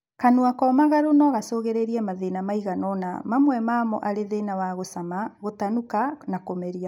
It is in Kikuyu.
Kanua komagaru no gacũngĩrĩrie mathĩna maigana ona, mamwe mamo arĩ thĩna wa gũcama, gũtanuka, kũmeria